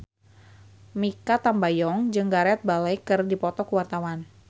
Mikha Tambayong jeung Gareth Bale keur dipoto ku wartawan